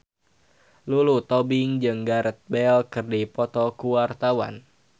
Lulu Tobing jeung Gareth Bale keur dipoto ku wartawan